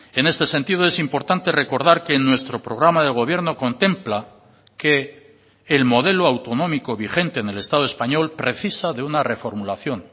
en este sentido es importante recordar que en nuestro programa de gobierno contempla que el modelo autonómico vigente en el estado español precisa de una reformulación